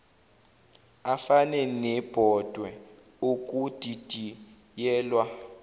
afane nebhodwe okudidiyelwa